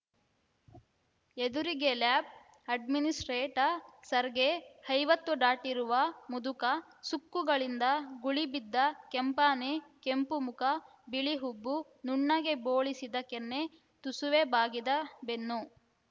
ಎದುರಿಗೆ lab administrator Sergei ಐವತ್ತು ದಾಟಿರುವ ಮುದುಕ ಸುಕ್ಕುಗಳಿಂದ ಗುಳಿಬಿದ್ದ ಕೆಂಪಾನೆ ಕೆಂಪು ಮುಖ ಬಿಳಿ ಹುಬ್ಬು ನುಣ್ಣಗೆ ಬೋಳಿಸಿದ ಕೆನ್ನೆ ತುಸುವೇ ಬಾಗಿದ ಬೆನ್ನು